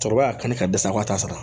Cɛkɔrɔba ka ne ka dɛsɛ k'a t'a sara